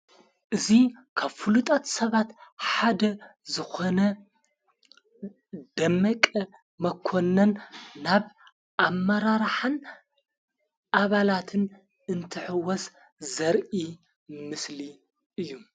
እዙ ከፍሉጣት ሰባት ሓደ ዝኾነ ደመቀ መኮነን ናብ ኣብ መራራሓን ኣባላትን እንትሕወስ ዘርኢ ምስሊ እዩ።